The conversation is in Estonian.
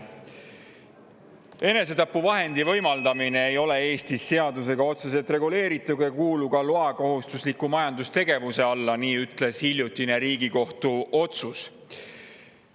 Enesetapuvahendi võimaldamine ei ole Eestis seadusega otseselt reguleeritud ega kuulu ka loakohustusliku majandustegevuse alla – nii ütles hiljutine Riigikohtu otsus.